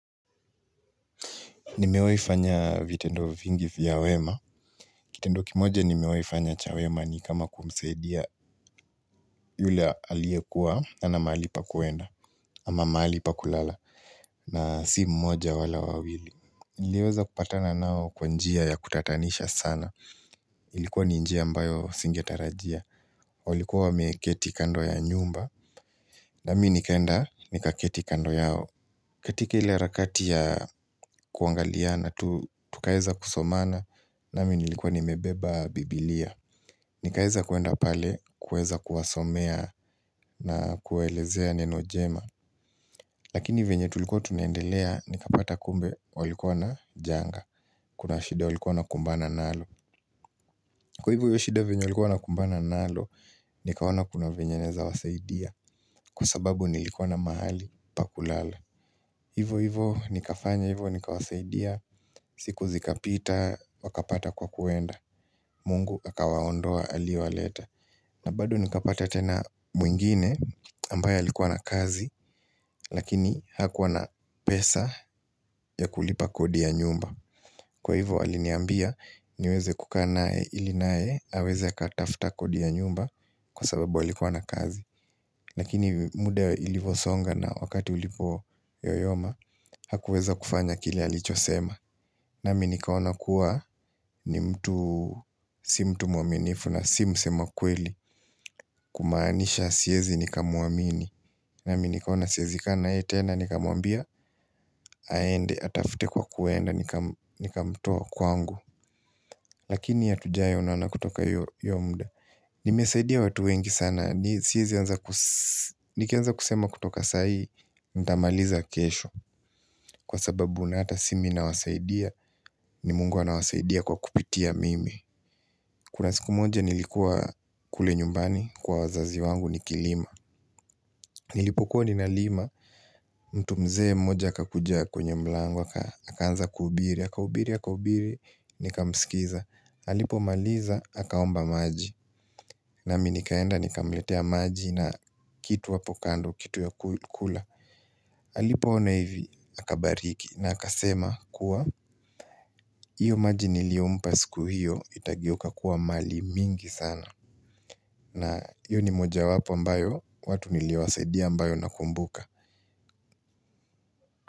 Nimewai fanya vitendo vingi vya wema. Kitendo kimoja nimewai fanya cha wema ni kama kumsaidia yule aliyekuwa hana mahali pa kuenda. Ama mahali pa kulala na si mmoja wala wawili. Nileweza kupatana nao kwa njia ya kutatanisha sana. Ilikuwa ni njia ambayo singetarajia. Walikuwa wameketi kando ya nyumba. Nami nikaenda nikaketi kando yao. Katika ile harakati ya kuangaliana tu tukaeza kusomana nami nilikuwa nimebeba bibilia. Nikaeza kuenda pale, kueza kuwasomea na kuwaelezea neno jema Lakini venye tulikuwa tunaendelea, nikapata kumbe walikuwa na janga Kuna shida walikuwa wanakumbana nalo. Kwa hivyo hiyo shida venye walikuwa kumbana nalo, nikaona kuna venye naeza wasaidia Kwa sababu nilikuwa na mahali pa kulala Hivo hivo nikafanya hivo nikawasaidia, siku zikapita wakapata kwa kuenda, Mungu akawaondoa aliowaleta na bado nikapata tena mwingine ambaye alikuwa na kazi, lakini hakuwa na pesa ya kulipa kodi ya nyumba. Kwa hivo aliniambia niweze kukaa naye ili naye, aweze akatafta kodi ya nyumba kwa sababu alikuwa na kazi Lakini muda ilivosonga na wakati ulipo yoyoma Hakuweza kufanya kile alichosema nami nikaona kuwa ni mtu si mtu muaminifu na si msema kweli Kumaanisha siezi nikamuamini nami nikaona siezi kaa na yeye tena nikamuambia aende atafute kwa kuenda nikamutoa kwangu Lakini hatujawai onana kutoka hiyo hiyo muda Nimesaidia watu wengi sana siezi anza nikianza kusema kutoka sahii, nitamaliza kesho kwa sababu unata si mimi na wasaidia ni mungu anawasaidia kwa kupitia mimi. Kuna siku moja nilikuwa kule nyumbani kwa wazazi wangu nikilima. Nilipokuwa ninalima, mtu mzee mmoja akakuja kwenye mlango, aka akaanza kuhubiri, akahubiri, akahubiri, nika msikiza. Alipo maliza, akaomba maji nami nikaenda, nikamletea maji na kitu hapo kando, kitu ya kula alipo ona hivi, akabariki na akasema kuwa hiyo maji niliyompa siku hiyo, itageuka kuwa mali mingi sana. Na hiyo ni moja wapo ambayo, watu niliowasaidia ambayo nakumbuka.